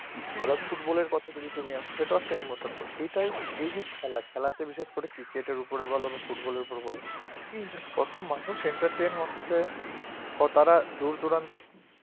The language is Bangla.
আবার ফুটবলের কথায় যদি তুমি আসো সেটাও একটা emotion তো এটাই এই যে খেলা খেলাতে বিশেষ করে ক্রিকেটের উপর বলো ফুটবলের উপর বল কত মানুষ entertain হচ্ছে তারা দূর দূরান্তে